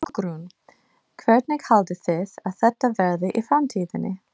Hugrún: Hvernig haldið þið að þetta verði í framtíðinni?